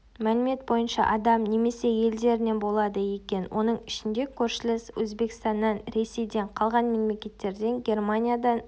мәлімет бойынша адам немесе елдерінен болады екен оның ішінде көршілес өзбекстаннан ресейден қалған мемлекеттерден германиядан